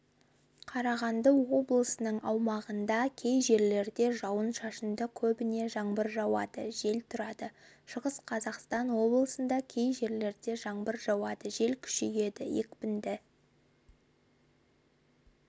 қарағанды облысының аумағында кей жерлерде жауын-шашынды көбіне жаңбыр жауады жел тұрады шығыс қазақстан облысында кей жерлерде жаңбыр жауады жел күшейеді екпіні